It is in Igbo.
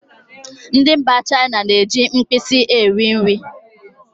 Ndị mba China na-eji mkpịsị eri nri